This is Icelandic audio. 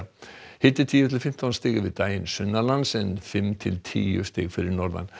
hiti tíu til fimmtán stig yfir daginn sunnanlands en fimm til tíu stig fyrir norðan